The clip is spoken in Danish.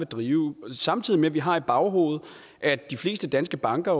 drive samtidig med at vi har i baghovedet at de fleste danske banker